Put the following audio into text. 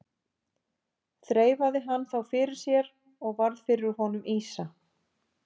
Þreifaði hann þá fyrir sér og varð fyrir honum ýsa.